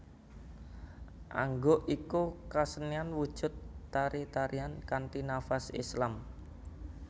Angguk iku kasenian wujud tari tarian kanthi nafas Islam